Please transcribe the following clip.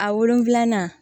A wolonfilanan